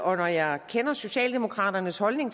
og når jeg kender socialdemokraternes holdning